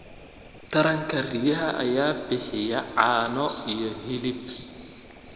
Taranka riyaha ayaa bixiya caano iyo hilib.